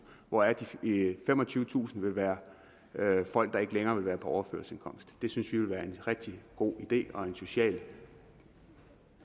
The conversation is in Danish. hvoraf de femogtyvetusind vil være folk der ikke længere vil være på overførselsindkomst det synes vi vil være en rigtig god idé og en socialt